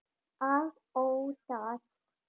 Að óttast!